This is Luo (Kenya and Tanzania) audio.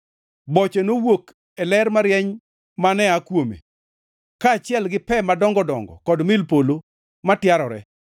Boche nowuok e ler marieny mane aa kuome, kaachiel gi pe madongo dongo kod mil polo ma tiarore.